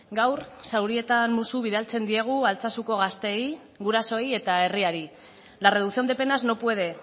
gaur zaurietan musu bidaltzen diegu altsasuko gazteei gurasoei eta herriari la reducción de penas no puede